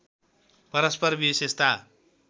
परस्पर विशेषता